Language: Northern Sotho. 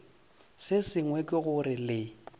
se sengwe ke gore le